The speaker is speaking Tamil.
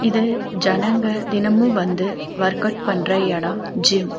இது ஜனங்க தினமு வந்து வொர்க் கவுட் பண்ற எடோ ஜிம் .